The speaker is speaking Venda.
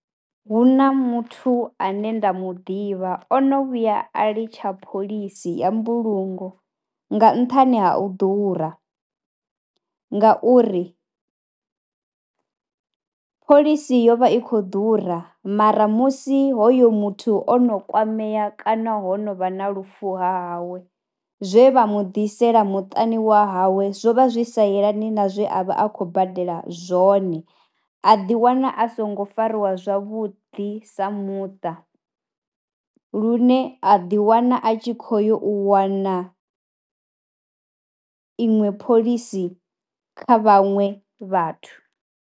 Hu na muthu ane nda mu ḓivha ono vhuya a litsha phoḽisi ya mbulungo nga nṱhani ha u ḓura ngauri phoḽisi yo vha i khou ḓura mara musi hoyo muthu o no kwamea kana ho no vha na lufu ha hawe zwe vha mu ḓisela muṱani wa hawe zwo vha zwi sa yelani na zwe a vha a khou badela zwone. A ḓiwana a songo fariwa zwavhuḓi sa muṱa, lune a ḓiwana a tshi kho yo u wana iṅwe phoḽisi kha vhaṅwe vhathu.